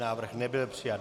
Návrh nebyl přijat.